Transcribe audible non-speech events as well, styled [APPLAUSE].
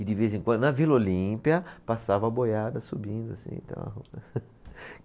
E de vez em quando, na Vila Olímpia, passava boiada subindo assim, tal. [LAUGHS]